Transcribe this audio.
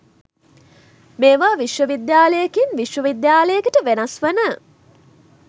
මේවා විශ්ව විද්‍යාලයකින් විශ්ව විද්‍යාලයකට වෙනස් වන